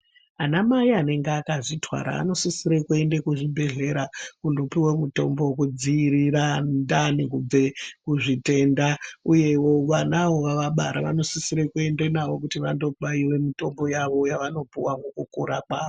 Ana mai anenge akazvitwara anosisire kuende kuzvibhedhlera kundopuve mutombo vekudzirira ndani kubve kuzvitenda, uyevo vana vavabara vanosisire kuendende navo kuti vandobaive mutombo yavo yavanopuva ngekukura kwavo.